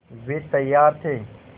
वे तैयार थे